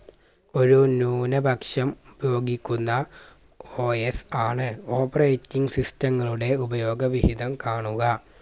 ഒരു ന്യൂനപക്ഷം യോഗിക്കുന്ന OS ആണ് operating system ങ്ങളുടെ ഉപയോഗ വിഹിതം കാണുക